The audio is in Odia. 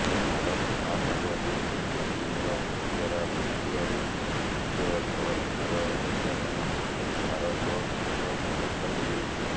ଭାରତ ମହାସାଗରରେ ଚୀନର ପତିଆରା ବଢୁଥିବାରୁ ନିଜ ଜଳସୀମାର ରକ୍ଷା ପାଇଁ ଭାରତ କେତେକ ପଦକ୍ଷେପ ନେଉଛି